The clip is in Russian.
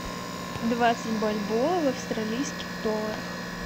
двадцать бальбоа в австралийских долларах